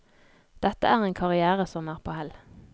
Dette er en karrièere som er på hell.